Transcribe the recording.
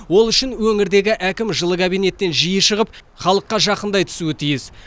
ол үшін өңірдегі әкім жылы кабинеттен жиі шығып халыққа жақындай түсуі тиіс